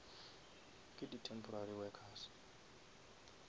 ke di temporary workers